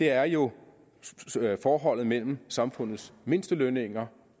er jo forholdet mellem samfundets mindstelønninger